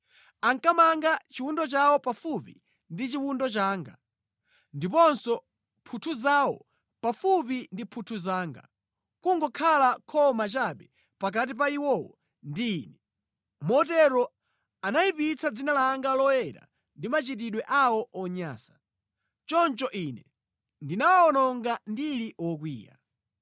Ankamanga chiwundo chawo pafupi ndi chiwundo changa, ndiponso mphuthu zawo pafupi ndi mphuthu zanga, nʼkungokhala khoma chabe pakati pa iwowo ndi Ine. Motero anayipitsa dzina langa loyera ndi machitidwe awo onyansa. Choncho Ine ndinawawononga ndili wokwiya.